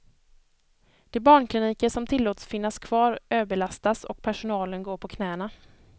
De barnkliniker som tillåtits finnas kvar överbelastas och personalen går på knäna.